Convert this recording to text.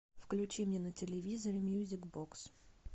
включи мне на телевизоре мьюзик бокс